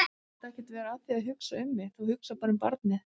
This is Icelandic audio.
Þú mátt ekkert vera að því að hugsa um mig, þú hugsar bara um barnið.